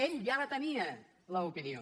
ell ja la tenia l’opinió